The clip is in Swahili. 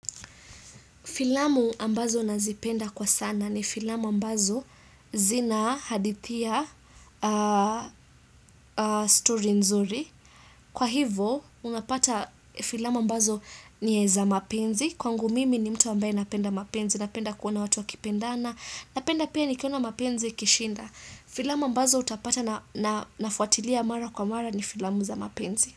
Filamu ambazo nazipenda kwa sana ni filamu ambazo zina hadithi ya story nzuri. Kwa hivo, unapata filamu ambazo ni za mapenzi. Kwangu mimi ni mtu ambaye napenda mapenzi, napenda kuona watu wakipendana. Napenda pia nikiona mapenzi ikishinda. Filamu ambazo utapata nafuatilia mara kwa mara ni filamu za mapenzi.